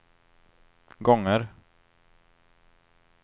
gånger